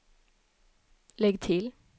lägg till